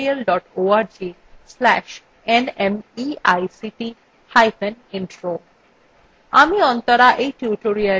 spoken hyphen tutorial dot org slash nmeict hyphen intro